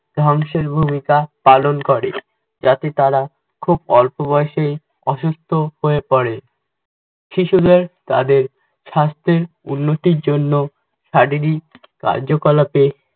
ধ্বংসের ভূমিকা পালন করে. যাতে তারা খুব অল্প বয়সে অসুস্থ হয়ে পরে। শিশুদের তাদের স্বাস্থ্যের উন্নতির জন্য শারীরিক কার্যকলাপে